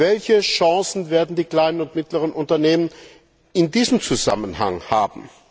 Welche Chancen werden die kleinen und mittleren Unternehmen in diesem Zusammenhang haben?